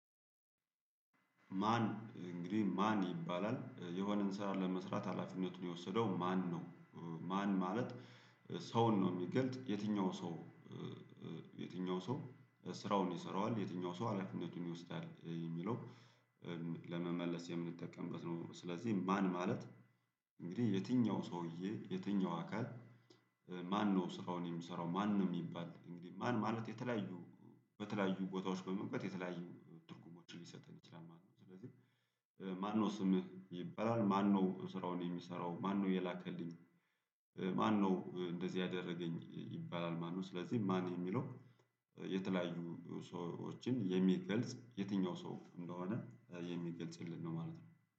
ማን እንግዲህ ማን ይባላል የሆነን ስራ ለመስራት ሀላፊነቱን የወሰደው ማን ነው ማን ማለት ሰውን ነው የሚገልጥ የትኛው ሰው የትኛው ሰው ስራውን ይሰራዋል? የትኛው ሰው ሀላፊነቱን ይወስዳል? የሚለው ለመመለስ የምንጠቀምበት ነው ስለዚህ ማን ማለት እንግዲህ የትኛው ሰውዬ የትኛው አካል ማነው ስራውን የምሰራው ማን ነው የሚባል እንግዲህ ማን ማለት የተለያዩ በተለያዩ ቦታዎች በመግባት የተለያዩ ትርጉሞችን ሊሰጥን ይችላል ማለት ነው። ስለዚህ ማነው ስምህ ይበላል ማነው ስራውን የሚሰራው ማነው የላከልኝ ማነው እንደዚህ ያደረገኝ ይባላል ማነው ስለዚህ ማን የሚለው የተለያዩ ሰዎችን የሚገልጽ የትኛው ሰው እንደሆነ የሚገልጽልን ነው ማለት ነው